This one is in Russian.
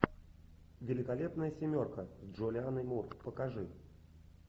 великолепная семерка с джулианной мур покажи